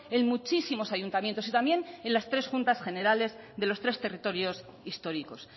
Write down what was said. en muchísimos ayuntamientos y también en las tres juntas generales de los tres territorios históricos